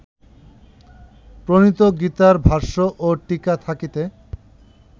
প্রণীত গীতার ভাষ্য ও টীকা থাকিতে